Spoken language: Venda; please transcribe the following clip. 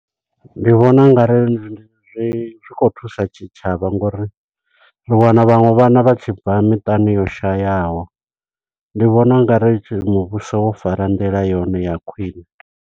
Ndi vhona ungari ndi zwi zwi khou thusa tshitshavha ngo uri, ri wana vhaṅwe vhana vha tshi bva miṱani yo shayaho. Ndi vhona ungari muvhuso wo fara nḓila yone ya khwiṋe.